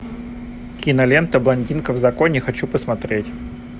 кинолента блондинка в законе хочу посмотреть